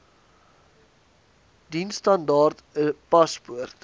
diensstandaard n paspoort